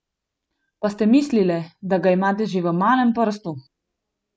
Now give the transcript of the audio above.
Pa ste mislile, da ga imate že v malem prstu!